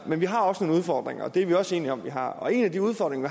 men vi har også nogle udfordringer og det er vi også enige om vi har og en af de udfordringer